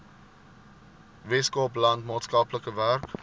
weskaapland maatskaplike werk